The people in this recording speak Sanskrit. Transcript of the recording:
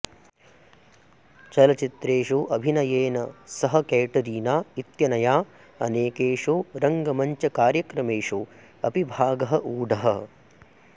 चलच्चित्रेषु अभिनयेन सह कैटरीना इत्यनया अनेकेषु रङ्गमञ्चकार्यक्रमेषु अपि भागः ऊढः